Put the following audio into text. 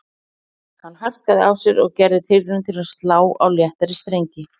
Hann harkaði af sér og gerði tilraun til að slá á léttari strengi